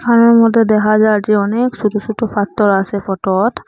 মধ্যে দেখা যায় যে অনেক সোটো সোটো পাথর আসে ফটোত ।